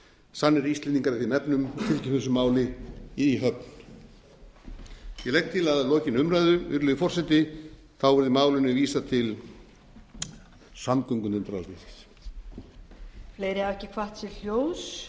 sannir íslendingar í þeim efnum fylgjum þessu máli í höfn ég legg til að lokinni umræðu virðulegi forseti verði málinu vísað til samgöngunefndar alþingis